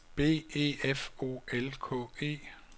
B E F O L K E